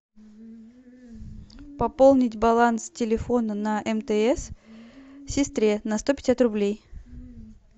пополнить баланс телефона на мтс сестре на сто пятьдесят рублей